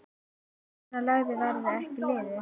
Svona lagað verður ekki liðið.